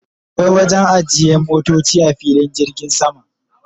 akwai wajen ajiye motoci a filin jirgin sama